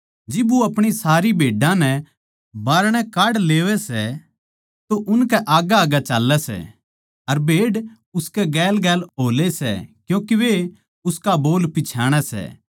जिब वो अपणी सारी भेड्डां नै बाहरणै काढ लेवै सै तो उनकै आग्गैआग्गै चाल्लै सै अर भेड़ उसकै गेलगेल हो ले सै क्यूँके वे उसका बोल पिच्छाणै सै